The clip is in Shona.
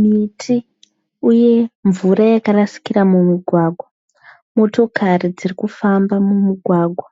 miti uye mvura yakarasikira mumugwagwa. Motokari dziri kufamba mumugwagwa,